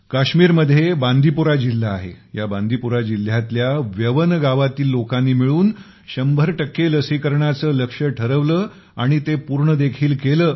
काश्मीरमध्ये बांदीपुरा जिल्हा आहे या बांदीपुरा जिल्ह्यातल्या व्यवन वेयन गावातील लोकांनी मिळून 100 लसीकरणाचे लक्ष्य ठरवले व ते पूर्णदेखील केले